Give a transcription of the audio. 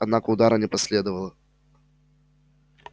однако удара не последовало